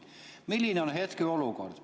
Milline on hetkeolukord?